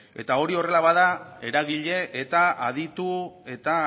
eta hori horrela bada eragile eta aditu eta